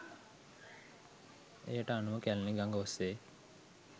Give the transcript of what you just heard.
එයට අනුව කැලණි ගඟ ඔස්සේ